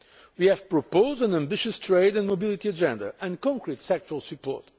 We have proposed an ambitious trade and mobility agenda and concrete sectoral support.